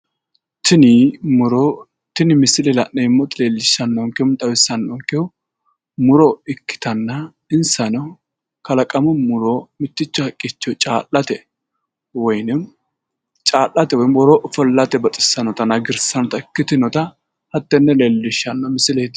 Tini misile la'neemmoti leellishshannonkehu woy xawissannonkehu muro ikkitanna insano kalaqamu muro mitticho haqqicho caa'late woyiinimmi caa'late woy worroonni ofollate baxissannotanna hagirsiissannota ikkitinota hattenne leellishshanno misileeti